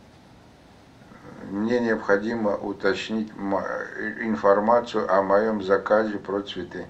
мне необходимо уточнить информацию о моем заказе про цветы